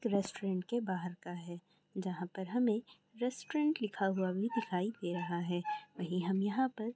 Restaurant के बाहर का है जहां पर हमें रेस्टोरेंट लिखा हुआ भी दिखाई दे रहा है। वही हम यहां पर--